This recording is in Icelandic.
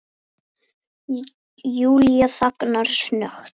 Júlía þagnar snöggt.